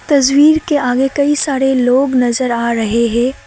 तस्वीर के आगे कई सारे लोग नजर आ रहे हैं।